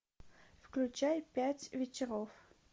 включай пять вечеров